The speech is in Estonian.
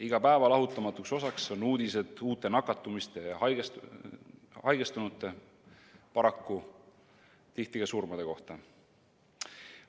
Iga päeva lahutamatuks osaks on uudised uute nakatumiste ja haigestunute, paraku tihti ka surmade kohta.